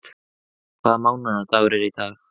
Glói, hvaða mánaðardagur er í dag?